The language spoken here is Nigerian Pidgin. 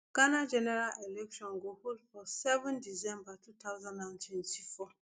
ghana general election go hold for seven december two thousand and twenty-four